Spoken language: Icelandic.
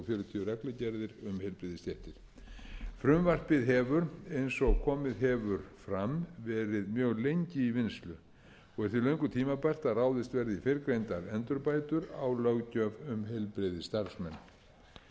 um heilbrigðisstéttir frumvarpið hefur eins og komið hefur fram verið mjög lengi í vinnslu og er því löngu tímabært að ráðist verði í fyrrgreindar endurbætur á löggjöf um heilbrigðisstarfsmenn ég